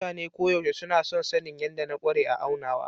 Mutane koyaushe suna son sanin yadda na ƙware a aunawa.